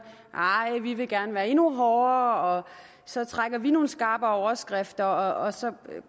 arh vi vil gerne være endnu hårdere og så trækker vi nogle skarpere overskrifter og så